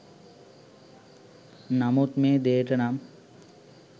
නමුත් මේ දේට නම්